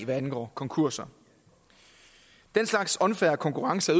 hvad angår konkurser den slags unfair konkurrence